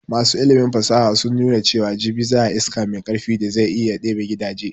Masu ilimin fasaha sun nuna cewan jibi za ayi iska mai karfi da zai iya ɗebe gidaje